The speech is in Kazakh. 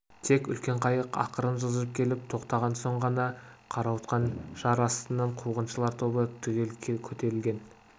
тек үлкен қайық ақырын жылжып келіп тоқтаған соң ғана қарауытқан жар астынан қуғыншылар тобы түгел көтерілген